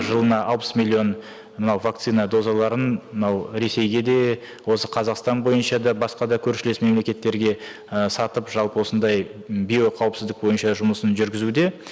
жылына алпыс миллион мынау вакцина дозаларын мынау ресейге де осы қазақстан бойынша да басқа да көршілес мемлекеттерге і сатып жалпы осындай м биоқауіпсіздік бойынша жұмысын жүргізуде